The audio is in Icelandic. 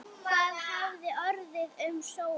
Hvað hafði orðið um Sólu?